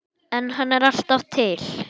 En hann er alltaf til.